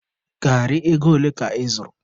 Gari ego ole ka ị zụrụ?